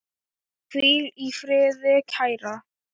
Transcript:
Hvíl í friði, kæra.